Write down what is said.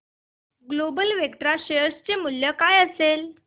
global Vectra share चे मूल्य काय असेल